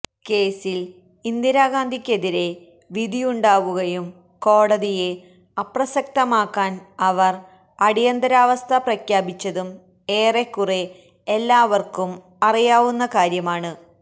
കേസില് ഇന്ദിരാഗാന്ധിയ്ക്കെതിരെ വിധിയുണ്ടാവുകയും കോടതിയെ അപ്രസസക്തമാക്കാന് അവര് അടിയന്തരാവസ്ഥ പ്രഖ്യാപിച്ചതും ഏറെക്കുറേ എല്ലാവര്ക്കും അറിയാവുന്ന കാര്യമാണ്